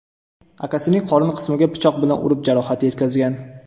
akasining qorin qismiga pichoq bilan urib jarohat yetkazgan.